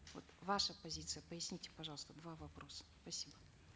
вот ваша позиция поясните пожалуйста два вопроса спасибо